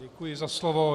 Děkuji za slovo.